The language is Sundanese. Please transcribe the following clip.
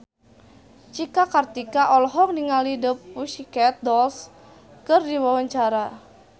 Cika Kartika olohok ningali The Pussycat Dolls keur diwawancara